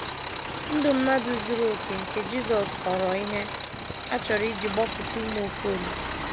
Ndụ mmadụ zuru okè nke Jisọs ghọrọ ihe a chọrọ iji gbapụta ụmụ Okolie